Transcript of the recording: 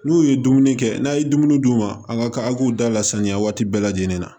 N'u ye dumuni kɛ n'a ye dumuni d'u ma a ka a k'u da la saniya waati bɛɛ lajɛlen na